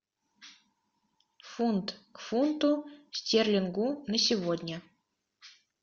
фунт к фунту стерлингу на сегодня